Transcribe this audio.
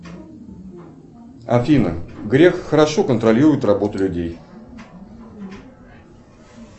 афина грех хорошо контролирует работу людей